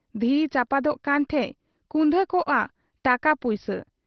ᱫᱷᱤᱨᱤ ᱪᱟᱯᱟᱫᱚᱜ ᱠᱟᱱ ᱴᱷᱮᱫ ᱠᱩᱫᱷᱟᱹ ᱠᱚᱜ ᱟ ᱴᱟᱠᱟ ᱯᱩᱭᱥᱟᱹ ᱾